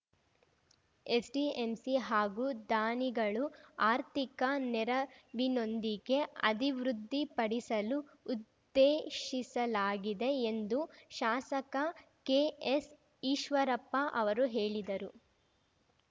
SDMC ಹಾಗೂ ದಾನಿಗಳು ಆರ್ಥಿಕ ನೆರವಿನೊಂದಿಗೆ ಅದಿವೃದ್ಧಿಪಡಿಸಲು ಉದ್ದೇಶಿಸಲಾಗಿದೆ ಎಂದು ಶಾಸಕ ಕೆಎಸ್‌ಈಶ್ವರಪ್ಪ ಅವರು ಹೇಳಿದರು